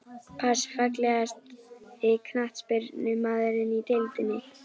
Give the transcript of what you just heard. Pass Fallegasti knattspyrnumaðurinn í deildinni?